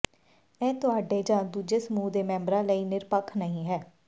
ਇਹ ਤੁਹਾਡੇ ਜਾਂ ਦੂਜੇ ਸਮੂਹ ਦੇ ਮੈਂਬਰਾਂ ਲਈ ਨਿਰਪੱਖ ਨਹੀਂ ਹੈ